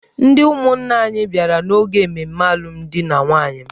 Ndị ụmụnna anyị bịara n’oge ememe alụmdi na nwunye m.